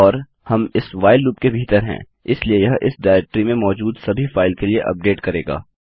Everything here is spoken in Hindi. और हम इस व्हाइल लूप के भीतर हैं इसलिए यह इस डाइरेक्टरी में मौजूद सभी फाइल के लिए अपडेट करेगा